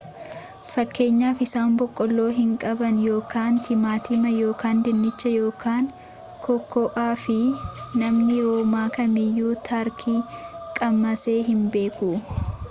fakkeenyaaf isaan boqqoloo hin qaban ykn timaatima ykn dinnicha ykn kokoo'aa fi namni roomaa kamiyyu tarkii qammasee hin beeku